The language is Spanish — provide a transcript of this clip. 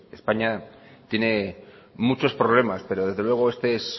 españa tiene muchos problemas pero desde luego este es